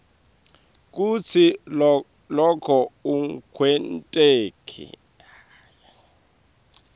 kutsi loko akwenteki